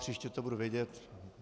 Příště to budu vědět.